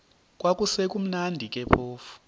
kwakusekumnandi ke phofu